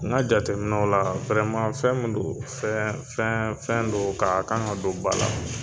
N ka jateminɛw la fɛn min don fɛn fɛn fɛn don ka a kan ka don ba la